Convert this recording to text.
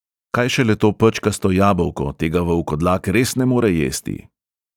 Kaj šele to pečkasto jabolko, tega volkodlak res ne more jesti.